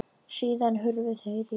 Síðan hurfu þeir á braut.